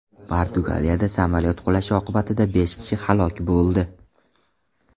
Portugaliyada samolyot qulashi oqibatida besh kishi halok bo‘ldi.